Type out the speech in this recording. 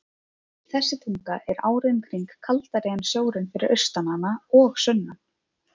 Þessi tunga er árið um kring kaldari en sjórinn fyrir austan hana og sunnan.